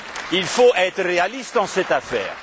Il faut être réaliste dans cette